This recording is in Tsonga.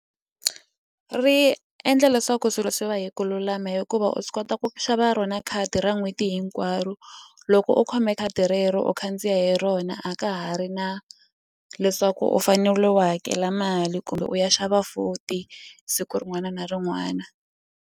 Ri endla leswaku swilo swi va hi ku lulama hikuva u swi kota ku xava rona khadi ra n'hweti hinkwaro loko u khome khadi rero u khandziya hi rona a ka ha ri na leswaku u fanele u hakela mali kumbe u ya xava futhi siku rin'wana na rin'wana.